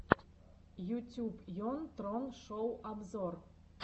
ютюб йон трон шоу обзор